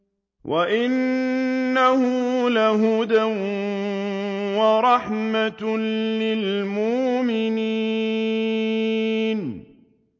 وَإِنَّهُ لَهُدًى وَرَحْمَةٌ لِّلْمُؤْمِنِينَ